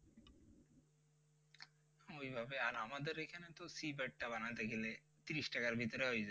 ওইভাবে আর আমাদের এখানে ছিপ একটা বানাতে গেলে ত্রিশ টাকার ভিতরে হয়ে,